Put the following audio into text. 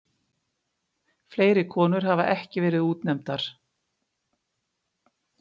Fleiri konur hafa ekki verið útnefndar.